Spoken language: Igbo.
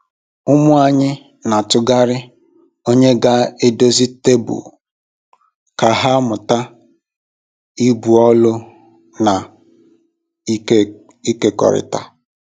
Ụmụ anyị n'atụgharị onye ga edozie tebụl ka ha mụta ibu ọlụ na ịkekọrịta.